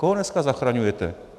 Koho dneska zachraňujete?